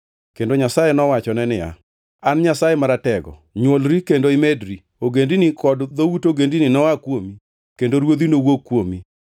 Kendo Nyasaye nowachone niya, “An Nyasaye Maratego, nywolri kendo imedri. Ogendini kod dhout ogendini noa kuomi kendo ruodhi nowuog kuomi.